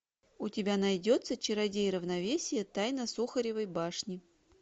у тебя найдется чародей равновесия тайна сухаревой башни